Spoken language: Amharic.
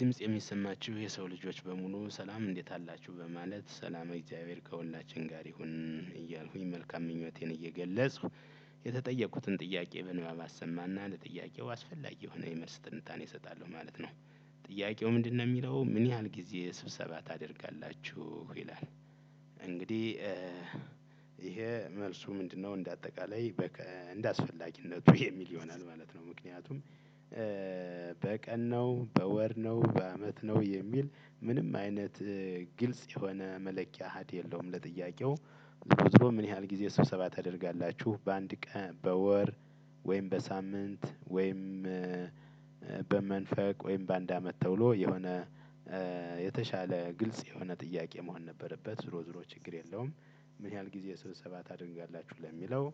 ድምጽ የሚሰማችሁ የሰው ልጆች በሙሉ ሰላም እንዴት አላችሁ በማለት ሰላም እግዚአብሔር ከሁላችን ጋር ይሁን እያልኩኝ መልካም ምኞቴን እየገለጽሁ የተጠየቁትን ጥያቄ ምንባብ አሰማና ለጥያቄው አስፈላጊ የሆነ የመልስ ትንታን እሰጣለሁ ማለት ነው። ጥያቄው ምንድነው ሚለው ምን ያህል ጊዜ ስብሰባ ታደርጋላችሁ ይላል? እንግዲህ ይሄ መልሱ ምንድነው እንደ አጠቃላይ እንደ አስፈላጊነቱ የሚል ይሆናል ማለት ነው። ምክንያቱም በቀን ነው በወር ነው በአመት ነው የሚል ምንም አይነት ግልጽ የሆነ መለኪያ ሀዲ የለውም። ለጥያቄው ዙሮዞሮ ምን ያህል ጊዜ ስብሰባ ታደርጋላችሁ በአንድ ቀን በወር ወይም በሳምንት ወይም በመንፈቅ ወይም በአንድ አመት ተውሎ የሆነ የተሻለ ግልጽ የሆነ ጥያቄ መሆን ነበረበት። ዝሮ ዝሮ ችግር የለውም። ምን ያህል ጊዜ ሰብሰባ ታደርጋላችሁ ለሚለው